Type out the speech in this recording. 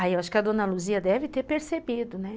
Aí eu acho que a Dona Luzia deve ter percebido, né?